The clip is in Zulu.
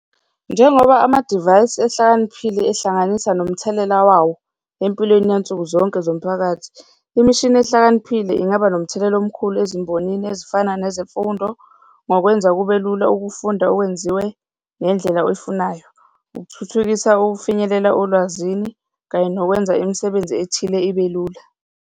Njengoba amadivayisi ehlakaniphile ehlanganisa nomthelela wawo empilweni yansukuzonke zomphakathi, imishini ehlakaniphile ingaba nomthelela omkhulu ezimbonini ezifana nezemfundo ngokwenza kube lula ukufunda okwenziwe ngendlela oyifunayo, ukuthuthukisa ukufinyelela olwazini kanye nokwenza imisebenzi ethile ibe lula.